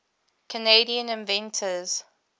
canadian inventors